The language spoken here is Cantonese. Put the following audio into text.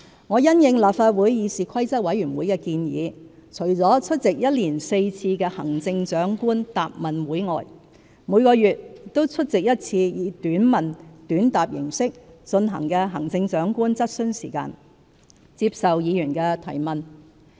我因應立法會議事規則委員會的建議，除出席1年4次的行政長官答問會外，每個月均出席1次以"短問短答"形式進行的行政長官質詢時間，接受議員提問。